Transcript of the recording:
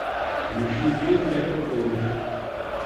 ищи фильм метрополис